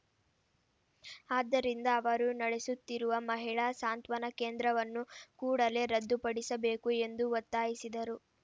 ಆದ್ದರಿಂದ ಅವರು ನಡೆಸುತ್ತಿರುವ ಮಹಿಳಾ ಸಾಂತ್ವನ ಕೇಂದ್ರವನ್ನು ಕೂಡಲೆ ರದ್ದುಪಡಿಸಬೇಕು ಎಂದು ಒತ್ತಾಯಿಸಿದರು